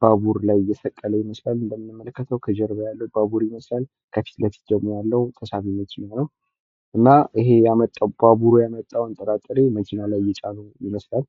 ባቡር ላይ እየሰቀለ ይመስላል። እንደምንመለከተው ከጀርባ ያለው ባቡር ይመስላል። ከፊት ለፊት ደግሞ ያለው ተሳቢ መኪና ነው። እና ይሄ ያመጣው ባቡሩ ያመጣውን ጥራጥሬ መኪና ላይ እየጫኑ ይመስላል።